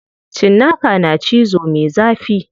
Cinnaka na cizo me zafi.